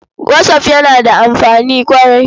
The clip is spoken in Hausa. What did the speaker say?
Whatsapp yana da amfani ƙwarai.